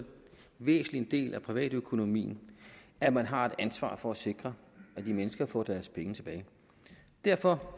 væsentlig del af privatøkonomien at man har et ansvar for at sikre at de mennesker får deres penge tilbage derfor